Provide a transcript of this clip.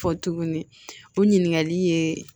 Fɔ tuguni o ɲininkali ye